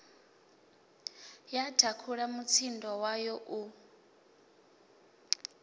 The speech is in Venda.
ya thakhula mutsindo wayo u